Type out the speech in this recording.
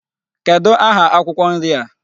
Kedụ aha akwụkwọ nri a?